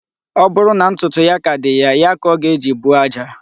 Ọ bụrụ na ntụtụ ya ka dị ya, ya ka ọ ga-eji buo aja.